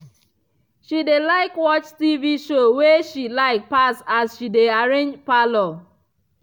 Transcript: she dey like watch tv show wey she like pass as she dey arrange parlour.